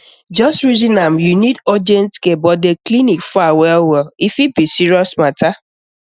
just reason am you need urgent care but the clinic far wellwell e fit be serious matter